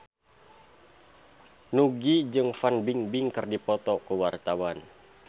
Nugie jeung Fan Bingbing keur dipoto ku wartawan